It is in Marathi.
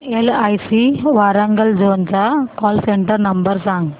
एलआयसी वारांगल झोन चा कॉल सेंटर नंबर सांग